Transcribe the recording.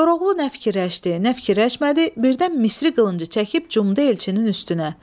Koroğlu nə fikirləşdi, nə fikirləşmədi, birdən Misri qılıncı çəkib cumdu elçinin üstünə.